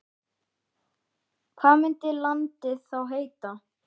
Hvað myndi landið þá heita?